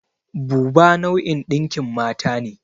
Buba nau'in ɗinkin mata ne.